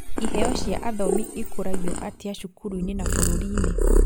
Iheo cia athomi ikũragio atĩa cukuruinĩ na bũrũriinĩ